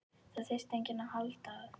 Það þyrfti enginn að halda að